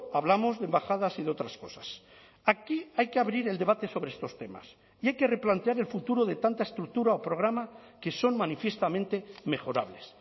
hablamos de embajadas y de otras cosas aquí hay que abrir el debate sobre estos temas y hay que replantear el futuro de tanta estructura o programa que son manifiestamente mejorables